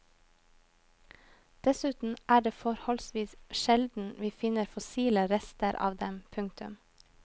Dessuten er det forholdsvis sjelden vi finner fossile rester av dem. punktum